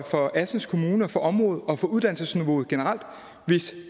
for assens kommune for området og for uddannelsesniveauet generelt hvis